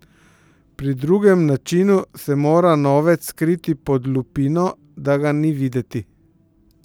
Pri drugem načinu se mora novec skriti pod lupino, da ga ni videti.